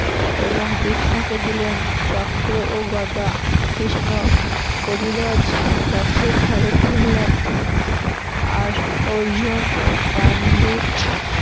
এবং কৃষ্ণকে দিলেন চক্র ও গদা কৃষ্ণ কপিধ্বজ রথের হলেন আর অর্জুন গান্ধিব